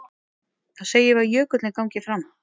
Þá segjum við að jökullinn gangi fram.